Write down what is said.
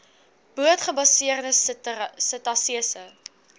boot gebaseerde setasese